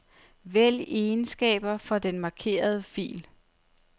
Vælg egenskaber for den markerede fil.